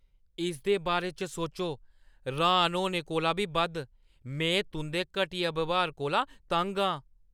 इसदे बारे च सोचो, र्‌हान होने कोला बी बद्ध, में मेरे तुंʼदे घटिया ब्यहार कोला तंग आं।